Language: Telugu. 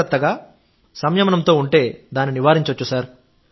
జాగ్రత్తగా సంయమనంతో ఉంటే దాన్ని నివారించవచ్చు